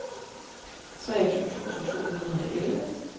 treogtyve tusind to hundrede og elleve